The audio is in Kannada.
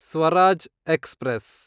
ಸ್ವರಾಜ್ ಎಕ್ಸ್‌ಪ್ರೆಸ್